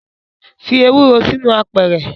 Fi ewuro sinu apeeere